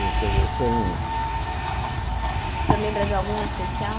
Quer dizer sem O senhor lembra de algum em especial?